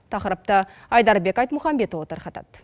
тақырыпты айдарбек айтмұхамбетұлы тарқатады